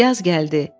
Yaz gəldi.